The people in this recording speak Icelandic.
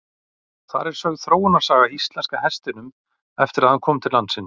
Þar er sögð þróunarsaga íslenska hestinum eftir að hann kom til landsins.